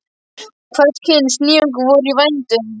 Hvers kyns nýjungar voru í vændum.